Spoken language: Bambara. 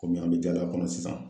Komi an be taga kɔnɔ sisan